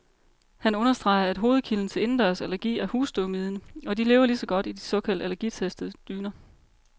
Han understreger, at hovedkilden til indendørsallergi er husstøvmiden, og de lever lige så godt i de såkaldt allergitestede dyner.